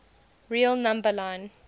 real number line